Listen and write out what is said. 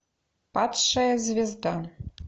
падшая звезда